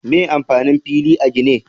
Me amfanin fila a gini?